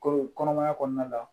Ko kɔnɔmaya kɔnɔna la